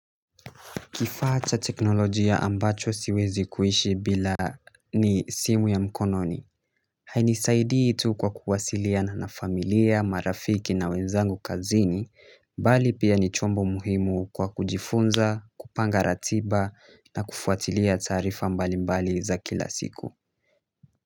Kifaa cha teknolojia ambacho siwezi kuishi bila ni simu ya mkononi. Hainisaidi tu kwa kuwasiliana na familia marafiki na wenzangu kazini bali pia ni chombo muhimu kwa kujifunza kupanga ratiba na kufuatilia taarifa mbalimbali za kila siku.